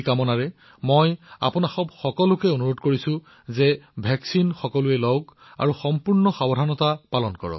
এই ইচ্ছাৰ সৈতে মই আপোনালোক সকলোকে আকৌ এবাৰ প্ৰতিষেধক গ্ৰহণ কৰাৰ বাবে অনুৰোধ জনাইছো আৰু সাৱধানো হব লাগিব